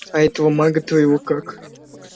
а этого мага твоего как